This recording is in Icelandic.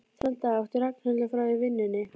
Þennan dag átti Ragnhildur frí í vinnunni.